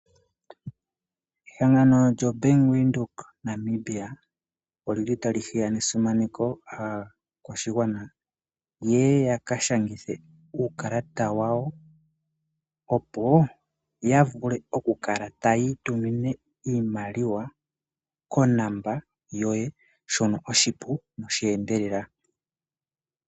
Ehangano djo Bank Windhoek Namibia odjili tali hiya ne simaneko aakwashigwana yeye yaka shangithe uukalata wawo, opo yavule oku kala tayi itumine iimaliwa konomola yoye shono oshipu nosheendelela.